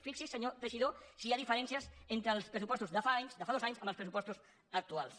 fixi’s senyor teixidó si hi ha diferències entre els pressupostos de fa anys de fas dos anys amb els pressupostos actuals